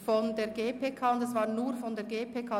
Dieser Antrag betreffend